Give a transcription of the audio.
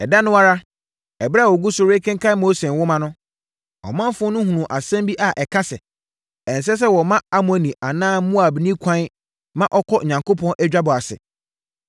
Ɛda no ara, ɛberɛ a wɔgu so rekenkan Mose Nwoma no, ɔmanfoɔ no hunuu asɛm bi a ɛka sɛ, ɛnsɛ sɛ wɔma Amonni anaa Moabni kwan ma ɔkɔ Onyankopɔn adwabɔ ase.